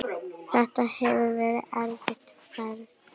Þetta hefur verið erfið ferð.